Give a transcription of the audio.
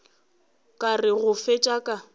ka re go fetša ka